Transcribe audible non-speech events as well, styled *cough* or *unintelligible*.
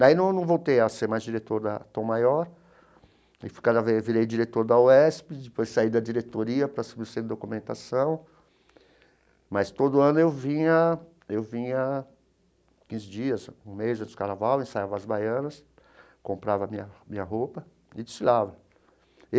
Daí num voltei a ser mais diretor da Tom Maior, e cada vez eu virei diretor da UESP, depois saí da diretoria para *unintelligible* documentação, mas todo ano eu vinha, eu vinha quinze dias, um mês antes do Carnaval, ensaiava as baianas, comprava a minha a minha roupa e desfilava.